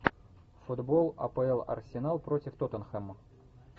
футбол апл арсенал против тоттенхэма